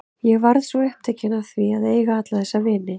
Ég varð svo upptekin af því að eiga alla þessa vini.